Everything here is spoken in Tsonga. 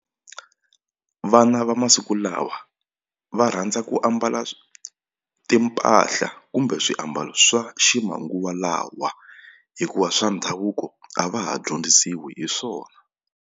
Vana va masiku lawa va rhandza ku ambala timpahla kumbe swiambalo swa ximanguva lawa hikuva swa ndhavuko a va ha dyondzisiwi hi swona.